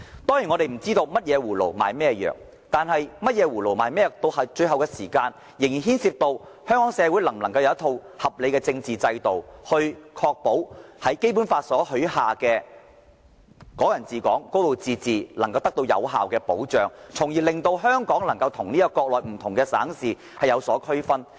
當然，我們不知道甚麼葫蘆賣甚麼藥，但到了最後，這仍牽涉到香港社會能否有一套合理的政治制度，確保《基本法》中有關"港人治港"、"高度自治"的承諾能夠得到有效保障，令香港與國內不同省市能有所區分。